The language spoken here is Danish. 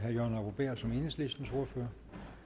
synes jeg